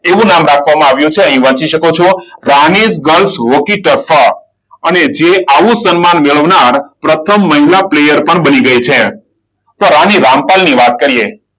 એવું નામ રાખવામાં આવ્યું છે અહીંયા વાંચી શકો છો. રાણી ગર્લ્સ હોકી સ્ટફ અને જે આવું સન્માન મેળવનાર પ્રથમ મહિલા પ્લેયર પણ બની ગઈ છે. તો રાણી રામપાલ ની વાત કરીએ.